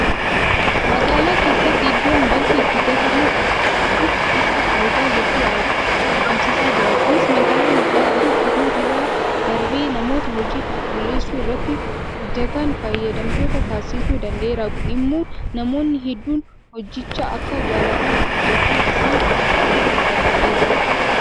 Magaalaa keessatti iddoon balfi itti gatamu qophaa'uun isaa faayidaa hedduu argamsiisaa jira. Kunis magaalaa miidhagduu uumuu bira darbee namoota hojii qulqulleessuu irratti hojjetan fayyadamtoota taasisuu danda'eera. Kun immoo namoonni hedduun hojicha akka jaalatanii hojjetan isaan taasisuu danda'eera.